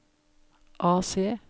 AC